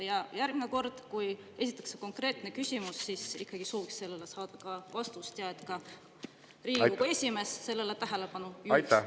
Ja järgmine kord, kui esitatakse konkreetne küsimus, siis ikkagi sooviks saada sellele vastust ja et ka Riigikogu esimees sellele tähelepanu juhiks.